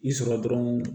I sɔrɔ dɔrɔn